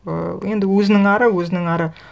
ы енді өзінің ары өзінің ары